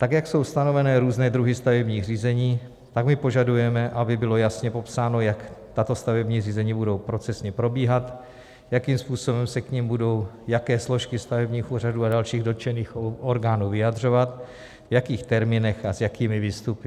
Tak jak jsou stanovené různé druhy stavebních řízení, tak my požadujeme, aby bylo jasně popsáno, jak tato stavební řízení budou procesně probíhat, jakým způsobem se k nim budou jaké složky stavebních úřadů a dalších dotčených orgánů vyjadřovat, v jakých termínech a s jakými výstupy.